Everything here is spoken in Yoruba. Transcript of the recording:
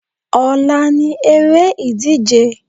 Ọ̀la ni eré ìdíje.